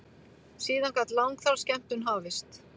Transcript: Síðan gat langþráð skemmtun hafist.